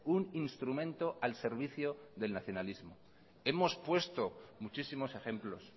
un instrumento al servicio del nacionalismo hemos puesto muchísimos ejemplos